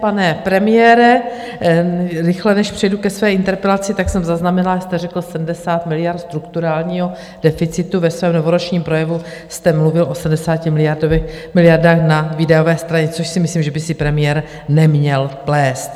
Pane premiére, rychle, než přejdu ke své interpelaci: Tak jsem zaznamenala, že jste řekl 70 miliard strukturálního deficitu, ve svém novoročním projevu jste mluvil o 70 miliardách na výdajové straně, což si myslím, že by si premiér neměl plést.